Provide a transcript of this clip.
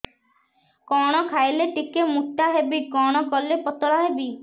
କଣ ଖାଇଲେ ଟିକେ ମୁଟା ହେବି କଣ କଲେ ପତଳା ହେବି